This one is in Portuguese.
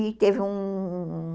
E teve um...